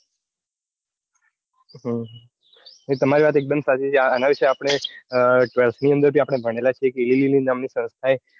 નઈ તામર વાત એકડમ સાચી છે આના વિશે આપડે twelfth ની અંદર આપડે ભણેલા છીએ. જ ઇલિલીલી નામ ની સંસ્થા એ